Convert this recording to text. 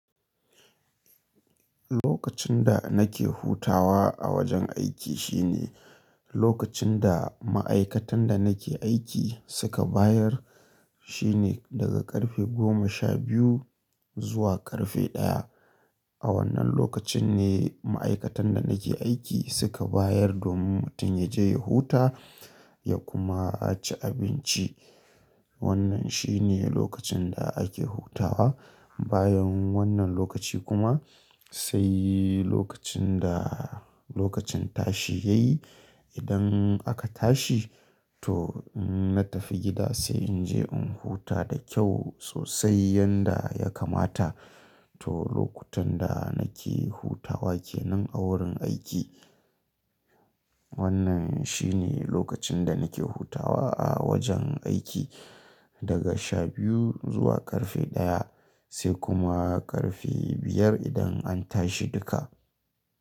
Lokacin da nake hutawa a wajen aiki shine lokacin da ma'aikatan da nake aiki suka bayar shine daga ƙarfe goma sha biyu zuwa ƙarfe ɗaya. A wannan lokacin ne ma'aikatan da nake aiki suka bayar domin mutum ya je ya huta ya kuma ci abinci. Wannan shine lokacin da ake hutawa. Bayan wannan lokaci kuma sai lokacin da lokacin tashi ya yi. Idan aka tashi to na tafi gida sai in je in huta da kyau sosai yanda ya kamata. To lokutan da nake hutawa kenan a wurin aiki. Wannan shine lokacin da nake hutawa a wajen aiki daga sha biyu zuwa ƙarfe ɗaya sai kuma ƙarfe biyar idan an tashi duka.